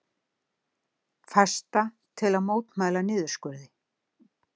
Fasta til að mótmæla niðurskurði